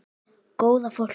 Góða fólkið.